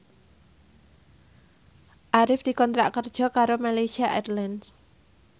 Arif dikontrak kerja karo Malaysia Airlines